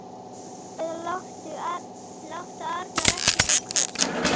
Góði Guð, láttu Arnar ekki fá köst.